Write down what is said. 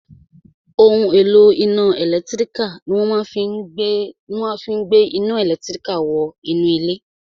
Ohun èlò iná ẹ̀lẹ́tírík ní wọ́n máa fí n ìgbéwolé iná ẹlẹtíríkì nínú ilé